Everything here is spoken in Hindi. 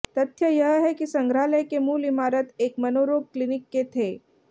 तथ्य यह है कि संग्रहालय के मूल इमारत एक मनोरोग क्लिनिक के थे